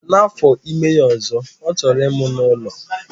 Na afọ ime ya ọzọ, ọ chọrọ ịmụ n'ụlọ.